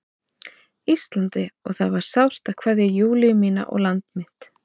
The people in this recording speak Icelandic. Íslandi og það var sárt að kveðja Júlíu mína og land mitt.